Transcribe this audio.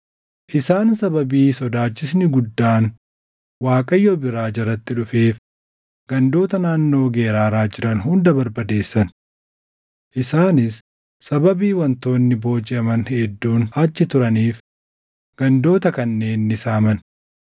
Isaan sababii sodaachisni guddaan Waaqayyo biraa jaratti dhufeef gandoota naannoo Geraaraa jiran hunda barbadeessan. Isaanis sababii wantoonni boojiʼaman hedduun achi turaniif gandoota kanneen ni saaman.